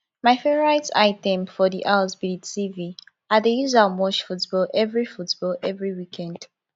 my favourite item for di house be di tv i dey use am watch football every football every weekned